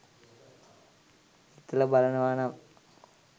හිතලා බලනවානම්